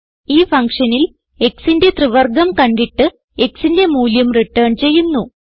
ഈ ഫങ്ഷനിൽ xന്റെ ത്രിവർഗ്ഗം കണ്ടിട്ട് xന്റെ മൂല്യം റിട്ടേൺ ചെയ്യുന്നു